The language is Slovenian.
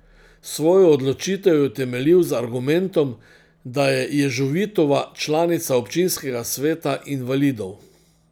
Svojo odločitev je utemeljil z argumentom, da je Ježovitova članica občinskega sveta invalidov.